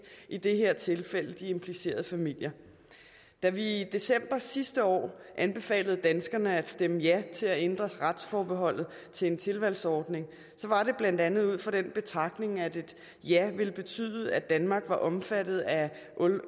i det her tilfælde de implicerede familier da vi i december sidste år anbefalede danskerne at stemme ja til at ændre retsforbeholdet til en tilvalgsordning var det blandt andet ud fra den betragtning at et ja ville betyde at danmark er omfattet af